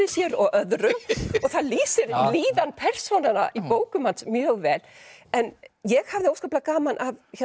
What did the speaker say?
sér og öðrum og það lýsir líðan persónanna í bókum hans mjög vel en ég hafði óskaplega gaman